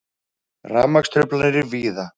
Rafmagnstruflanir víða